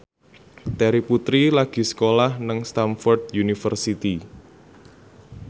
Terry Putri lagi sekolah nang Stamford University